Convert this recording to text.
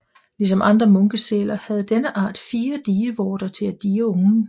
Ligesom andre munkesæler havde denne art fire dievorter til at die ungen